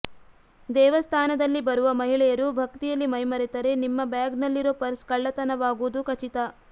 ದೇವಸ್ಥಾನದಲ್ಲಿ ಬರುವ ಮಹಿಳೆಯರು ಭಕ್ತಿಯಲ್ಲಿ ಮೈಮರೆತರೆ ನಿಮ್ಮ ಬ್ಯಾಗ್ ನಲ್ಲಿರೋ ಪರ್ಸ್ ಕಳ್ಳತನವಾಗೋದು ಖಚಿತ